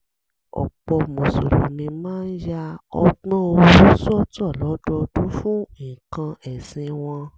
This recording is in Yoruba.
ọ̀pọ̀ mùsùlùmí máa ń ya ọgbọ́n owó sọ́tọ̀ lọ́dọọdún fún nǹkan ẹ̀sìn wọn